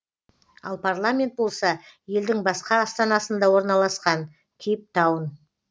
ал парламент болса елдің басқа астанасында орналасқан кейптаун